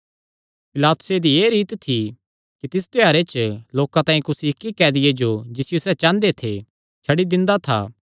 पिलातुसे दी एह़ रीत थी कि तिस त्योहारे च लोकां तांई कुसी इक्की कैदिये जो जिसियो सैह़ चांह़दे थे छड्डी दिंदा था